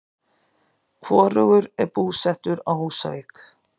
Hvorugur er búsettur á Húsavík.